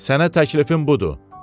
Sənə təklifim budur.